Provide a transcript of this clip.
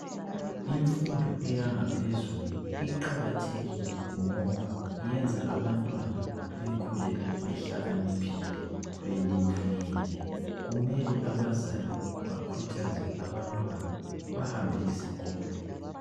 Imfundo iyangaphezulu iqakathekile ngoba iyenza abantwana bekhule behlakaniphile , belimukile kumele abazali bakhuthaze abantwana bahambe esikolo .